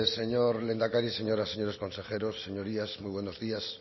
señor lehendakari y señoras y señores consejeros señorías muy buenos días